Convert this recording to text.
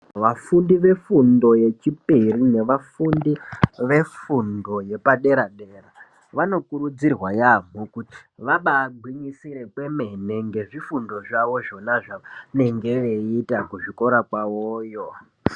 Vafundi vefundo yechipiri nevafundi vefundo yepadera dera vanokurudzirwa yambo kuti vabaagwinyisire kwemene ngezvifundo zvao zvonazvo zvavanenge veiita kuzvikora kwavoyo .